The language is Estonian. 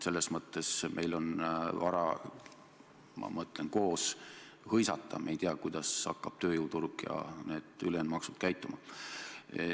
Selles mõttes meil on vara hõisata – me ei tea, kuidas hakkab tööjõuturg käituma ja need ülejäänud maksud tulema.